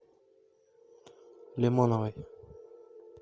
лимоновой